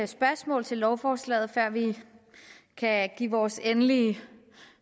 spørgsmål til lovforslaget før vi kan give vores endelige